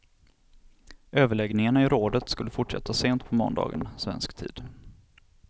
Överläggningarna i rådet skulle fortsätta sent på måndagen, svensk tid.